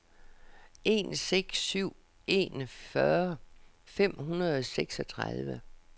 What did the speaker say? en seks syv en fyrre fem hundrede og seksogtredive